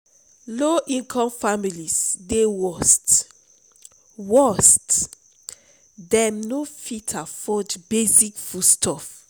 low-income families dey worst; worst; dem no fit afford basic foodstuffs.